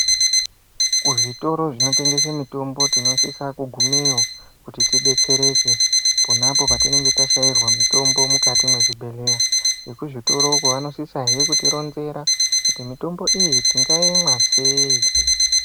Kuzvitoro zvinotengese mitombo tinosise kugumeyo kuti tibetsereke pona apo patinenge tashairwa mitombo mukati mwezvibhedhlera. Vekuzvitoro uku vanosisahe kutironzera kuti mitombo iyi tingaimwa sei.